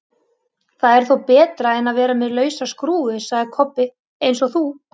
Það er þó betra en að vera með lausa skrúfu, sagði Kobbi, eins og þú!